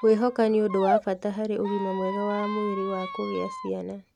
Kwĩhoka nĩ ũndũ wa bata harĩ ũgima mwega wa mwĩrĩ wa kũgĩa ciana.